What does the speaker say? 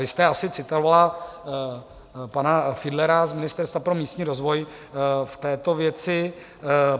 Vy jste asi citovala pana Fiedlera z Ministerstva pro místní rozvoj v této věci.